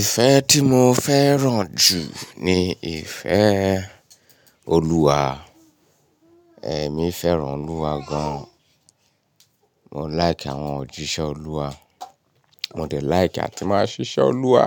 Ìfẹ́ tí mo fẹ́ràn jù ni ìfẹ́ Olúwa. Ẹ̀mí fẹ́ràn Olúwa gan. Mo like àwọn òjíṣẹ́ Olúwa. Mo de like àti máa ṣiṣẹ́ Olúwa